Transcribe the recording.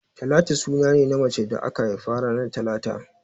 Talatu suna ne na macen da aka haifa ranar talata